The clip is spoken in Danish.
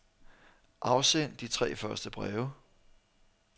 Afsend de tre første breve.